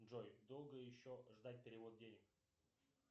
джой долго еще ждать перевод денег